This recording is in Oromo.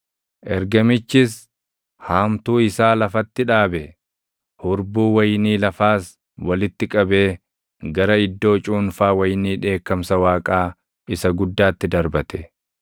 Ergamichis haamtuu isaa lafatti dhaabe; hurbuu wayinii lafaas walitti qabee gara iddoo cuunfaa wayinii dheekkamsa Waaqaa isa guddaatti darbate.